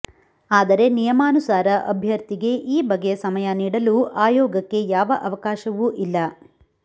ಆದರೆ ನಿಯಮಾನುಸಾರ ಅಭ್ಯರ್ಥಿಗೆ ಈ ಬಗೆಯ ಸಮಯ ನೀಡಲು ಆಯೋಗಕ್ಕೆ ಯಾವ ಅವಕಾಶವೂ ಇಲ್ಲ